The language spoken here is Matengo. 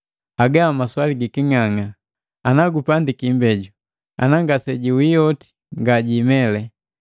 Haga maswali giking'ang'a! Anagupandiki imbeju, ana ngasejiwii oti ngajimele.